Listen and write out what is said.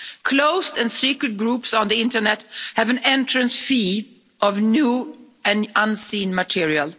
Closed and secret groups on the internet have an entrance fee of new and unseen material.